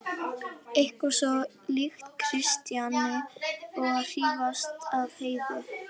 Eitthvað svo líkt Kjartani að hrífast af Heiðu.